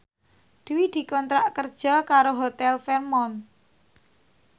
Dwi dikontrak kerja karo Hotel Fairmont